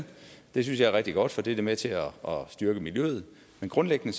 det synes jeg er rigtig godt for det er da med til at styrke miljøet men grundlæggende